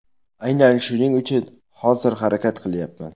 Aynan shuning uchun hozir harakat qilyapman.